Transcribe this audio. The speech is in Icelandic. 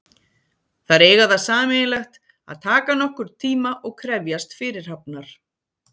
Þær eiga það sameiginlegt að taka nokkurn tíma og krefjast fyrirhafnar.